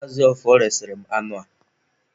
Maazị Ọfọr resịrị m anụ a.